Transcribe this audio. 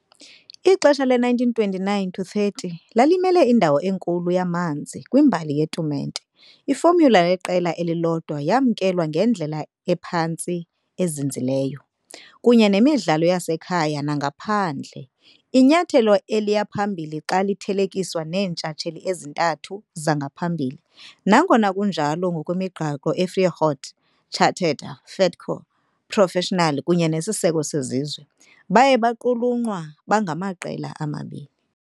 Ixesha le-1929-30 lalimele indawo enkulu yamanzi kwimbali yetumente- ifomyula yeqela elilodwa yamkelwa ngendlela ephantse izinzileyo, kunye nemidlalo yasekhaya nangaphandle, inyathelo eliya phambili xa lithelekiswa neentshatsheli ezintathu zangaphambili, nangona kunjalo - ngokwemigaqo yeViareggio charter - de facto professional kunye nesiseko sesizwe, baye baqulunqwa bangamaqela amabini.